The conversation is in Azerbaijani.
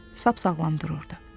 Sap sağlam dururdu.